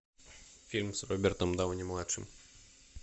фильм с робертом дауни младшим